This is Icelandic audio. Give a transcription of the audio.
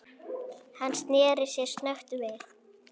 Hann sneri sér snöggt við.